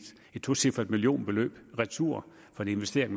tocifret millionbeløb retur fra en investering